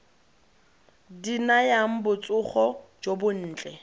di nayang botsogo jo bontle